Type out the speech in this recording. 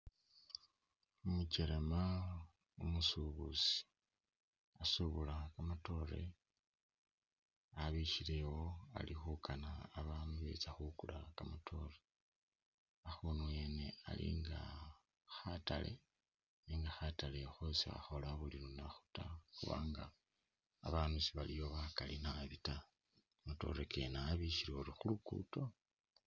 Umukelema umusubuzi usubula kamatoore abikhile ali khukana babandu betse khukula kamatoore akhunu wene ali nga khataale nenga khataale kho si khakhoola buli lunakhu ta khuba nga babandu sibaliyo bakali ta kamatoore abikhile utuyori khulugudo